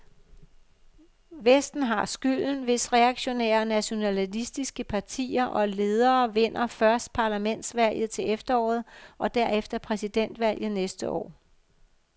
Vesten har skylden, hvis reaktionære og nationalistiske partier og ledere vinder først parlamentsvalget til efteråret og derefter præsidentvalget næste år.